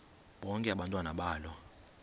bonke abantwana balo